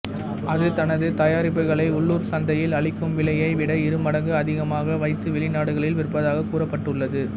அது தனது தயாரிப்புகளை உள்ளூர் சந்தையில் அளிக்கும் விலையை விட இருமடங்கு அதிகமாக வைத்து வெளிநாடுகளில் விற்பதாகக் கூறப்பட்டுள்ளது